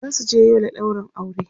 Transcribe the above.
zasu je Yola ɗaurin aure